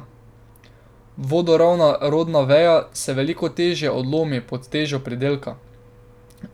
Vodoravna rodna veja se veliko težje odlomi pod težo pridelka.